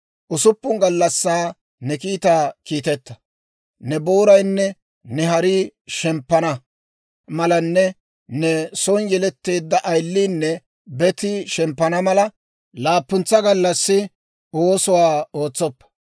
Usuppun gallassaa ne kiitaa kiitetta; ne booraynne ne harii shemppana malanne ne son yeletteedda ayiliinne betii, shemppana mala, laappuntsa gallassi oosuwaa ootsoppa.